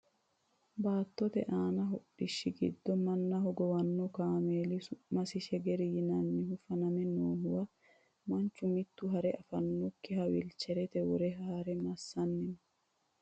baattote aani hodhishshi giddo manna hogowanno kameeli su'masi shegeri yinannihu faname noohuwa manchu mitto hare afannokiha wilcherete wore haare massanni no